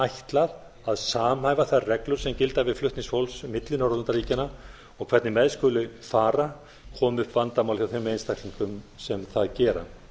ætlað að samhæfa þær reglur sem gilda við flutning fólks milli norðurlandaríkjanna og hvernig með skuli fara komi upp vandamál hjá þeim einstaklingum sem það gera